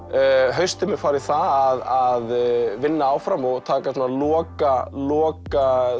haustið mun fara í það að vinna áfram og taka svona loka loka